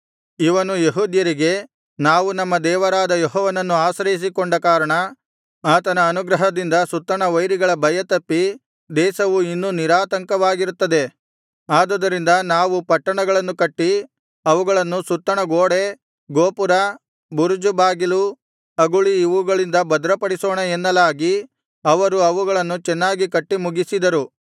ಇವನು ಯೆಹೂದ್ಯರಿಗೆ ನಾವು ನಮ್ಮ ದೇವರಾದ ಯೆಹೋವನನ್ನು ಆಶ್ರಯಿಸಿಕೊಂಡ ಕಾರಣ ಆತನ ಅನುಗ್ರಹದಿಂದ ಸುತ್ತಣ ವೈರಿಗಳ ಭಯ ತಪ್ಪಿ ದೇಶವು ಇನ್ನೂ ನಿರಾತಂಕವಾಗಿರುತ್ತದೆ ಆದುದರಿಂದ ನಾವು ಪಟ್ಟಣಗಳನ್ನು ಕಟ್ಟಿ ಅವುಗಳನ್ನು ಸುತ್ತಣ ಗೋಡೆ ಗೋಪುರ ಬುರುಜು ಬಾಗಿಲು ಅಗುಳಿ ಇವುಗಳಿಂದ ಭದ್ರಪಡಿಸೋಣ ಎನ್ನಲಾಗಿ ಅವರು ಅವುಗಳನ್ನು ಚೆನ್ನಾಗಿ ಕಟ್ಟಿ ಮುಗಿಸಿದರು